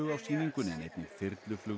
á sýningunni en einnig þyrluflug